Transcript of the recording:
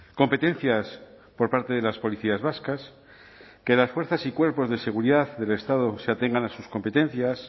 competencias por parte de las policías vascas que las fuerzas y cuerpos de seguridad del estado se atengan a sus competencias